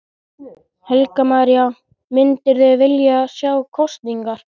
Helga María: Myndirðu vilja sjá kosningar?